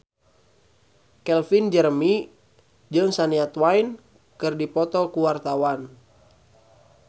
Calvin Jeremy jeung Shania Twain keur dipoto ku wartawan